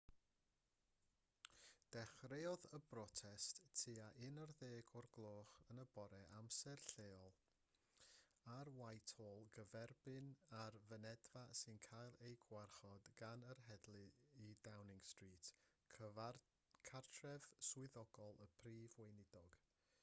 dechreuodd y brotest tua 11:00 amser lleol utc+1 ar whitehall gyferbyn â'r fynedfa sy'n cael ei gwarchod gan yr heddlu i downing street cartref swyddogol y prif weinidog